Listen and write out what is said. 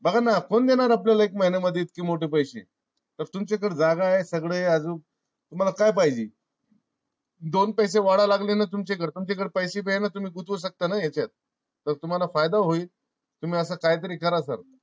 बघा ना कोण देणार आपल्यला एक महिन्यामध्ये मध्ये इतके मोठे पैसे? तर तुमच्या कड जागा आहे. सगळ आहे. आजूक तुम्हाला काय पाहिजे. दोन पैसे वाढाय लागले ना तुमच्याकडं पैशे बी आहे ना तुम्ही गुंतवू शकता ना यांच्यात? तर तुम्हाला फायदा होईल तुम्ही असं काय तरी करा Sir